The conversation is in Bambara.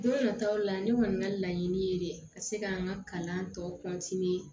Don nataw la ne kɔni ka laɲini ye de ka se k'an ka kalan tɔ